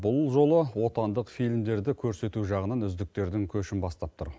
бұл жолы отандық фильмдерді көрсету жағынан үздіктердің көшін бастап тұр